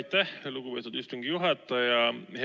Aitäh, lugupeetud istungi juhataja!